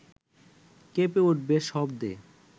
কেঁপে উঠবে শব্দে